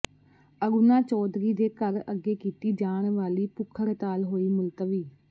ਅਰੁਣਾ ਚੌਧਰੀ ਦੇ ਘਰ ਅੱਗੇ ਕੀਤੀ ਜਾਣ ਵਾਲੀ ਭੁੱਖ ਹੜਤਾਲ ਹੋਈ ਮੁਲਤਵੀ